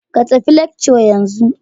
Ka tafi lecture yanzu